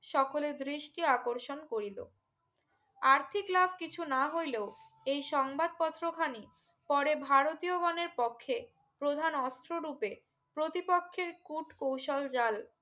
সকলের দৃষ্টি আকর্ষণ করিলো আর্থিক লাভ কিছু না হইলেও এই সংবাদ পত্র খানি পরে ভারতীয় গনের পক্ষে প্রধান অস্ত্র রুপে প্রতি পক্ষের কুট কৌশল জাল